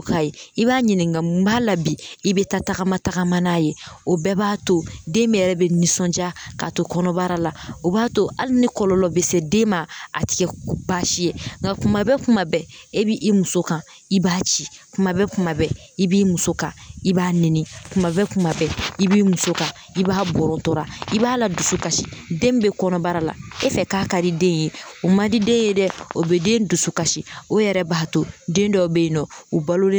Ka ye i b'a ɲininka mun b'a la bi i bɛ taa tagama tagama n'a ye o bɛɛ b'a to den bɛ yɛrɛ bɛ nisɔnjaa k'a to kɔnɔbara la o b'a to hali ni kɔlɔlɔ bɛ se den ma a tɛ kɛ baasi ye nka kuma bɛɛ kuma bɛɛ e b'i muso kan i b'a ci kuma bɛɛ kuma bɛɛ i b'i muso kan i b'a nɛni kuma bɛɛ kuma bɛɛ i b'i muso kan i b'a bɔrɔtora i b'a ladusu kasi den min bɛ kɔnɔbara la e fɛ k'a ka di den ye o man di den ye dɛ o bɛ den dusu kasi o yɛrɛ b'a to den dɔw bɛ yen nɔ u balolen